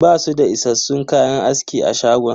Basu da issassun kayan aski a shagon.